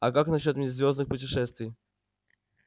а как насчёт межзвёздных путешествий